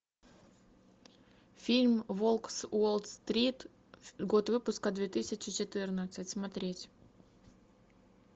фильм волк с уолл стрит год выпуска две тысячи четырнадцать смотреть